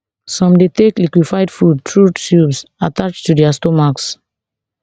some dey take liquified food through tubes attached to dia stomachs